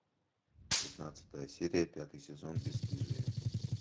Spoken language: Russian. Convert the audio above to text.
пятнадцатая серия пятый сезон бесстыжие